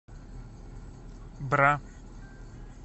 бра